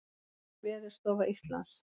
Veðurstofa Íslands.